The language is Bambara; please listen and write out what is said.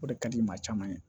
O de ka di maa caman ye